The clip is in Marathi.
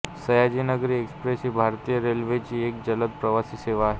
सयाजीनगरी एक्सप्रेस ही भारतीय रेल्वेची एक जलद प्रवासी सेवा आहे